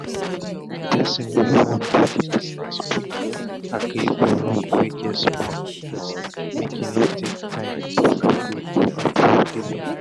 the person wey wan do the businessquick agree for loan wey get small interest make e no take time before dey go approve the loan.